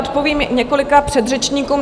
Odpovím několika předřečníkům.